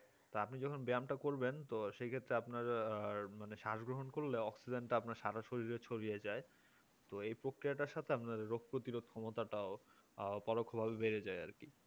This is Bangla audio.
তো আপনি যখন ব্যায়ামটা করবেন সে ক্ষেত্রে আপনার মানে সাজ গ্রহণ করলে অক্সিজেন সরাসরি ছড়িয়ে যায় তো এই প্রক্রিয়াটার সাথে আপনার প্রতিরোধ ক্ষমতাটাও পরোক্ষভাবে বেড়ে যায় আর কি